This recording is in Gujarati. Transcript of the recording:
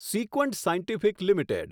Sequent Scientific limited